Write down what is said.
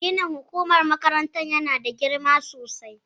Ginin hukumar makarantar yana da girma sosai